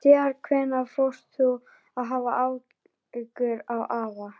Síðan hvenær fórst þú að hafa áhuga á afa?